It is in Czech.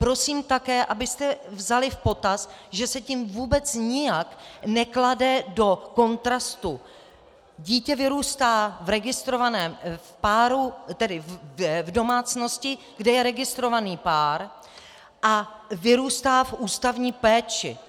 Prosím také, abyste vzali v potaz, že se tím vůbec nijak neklade do kontrastu - dítě vyrůstá v registrovaném páru, tedy v domácnosti, kde je registrovaný pár, a vyrůstá v ústavní péči.